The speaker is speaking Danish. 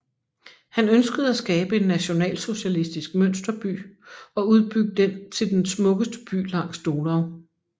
Han ønskede at skabe en nationalsocialistisk mønsterby og udbygge den til den smukkeste by langs Donau